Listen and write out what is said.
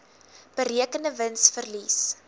berekende wins verlies